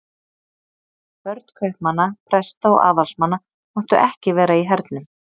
Börn kaupmanna, presta og aðalsmanna máttu ekki vera í hernum.